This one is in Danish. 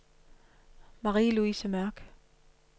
Marie-Louise Mørch